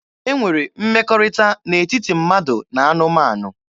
E nwere mmekọrịta n'etiti mmadụ na anụmanụ.